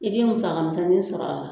I bɛ musaka misɛnnin sɔrɔ a la